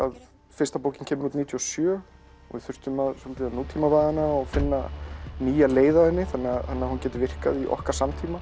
fyrsta bókin kemur út níutíu og sjö og við þurftum svolítið að nútímavæða hana og finna nýja leið að henni þannig að hún geti virkað í okkar samtíma